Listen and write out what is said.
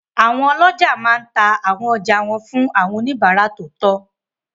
Àwọn ọlọ́jà máa n ta àwọn ọjà wọn fún àwọn oníbàárà tó tọ́